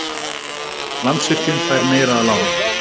Landsvirkjun fær meira að láni